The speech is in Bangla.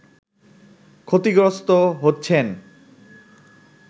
ক্ষতিগ্রস্থ হচ্ছেন